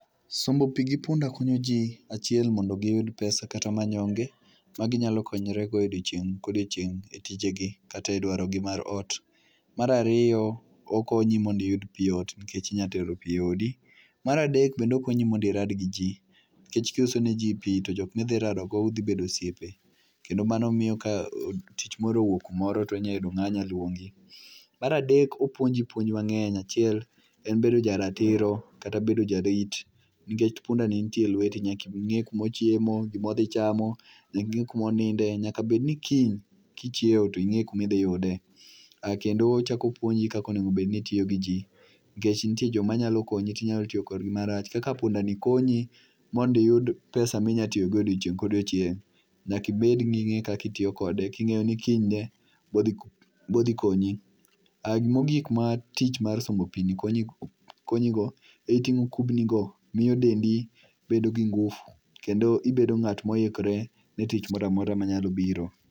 Sombo pi gi punda konyoji, achiel mondo giyud pesa kata manyonge maginyalo konyorego odiechieng' ka odiechieng' etijegi kata e dwarogi mar ot. Mar ariyo, okonyi mondo iyud pi ot, inyalo teero pi eodi. Mar adek bende okonyi mondo irad gi ji. Nikech ka iuso neji pi to jok ma udhi radogo udhi bedo osiepe, kendoo mani miyo ka tich moro owuok kumoro to inyalo yudo ng'ama nyalo luongi. Mar adek opuonji puonj mang'eny achiel en bedo ja ratiro, kata bedo jarit nikech pundani nitie elweti nyaka ing'e kuma odhiye, gima odhi chamo gi gik moninde. Nyaka bed ni kiny kichiew to ing'eyo kuma idhi yude. Kendo ochako opuonji kaka onego bed ni itiyo gi ji, nikech nitie joma nyalo konyi to inyalo tiyo kodgi marach. Kaka pundani konyi mondo iyud pesa ma inyalo ntiyogo odiechieng' ka odiechieng‘, nyaka ibed ning'eyo kaka itiyo kode king'eyo ni kinyne be odhi konyi. Mogik ma tich mar sombo pini konyigo, eting'o kubnigo miyo dendi bedo gi ngufu kendo ibet ng'at moikre ni tich moro amora mobiro.